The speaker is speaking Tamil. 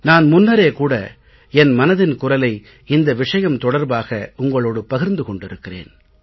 நான் முன்னரே கூட என் மனதின் குரலை இந்த விஷயம் தொடர்பாக உங்களோடு பகிர்ந்து கொண்டிருக்கிறேன்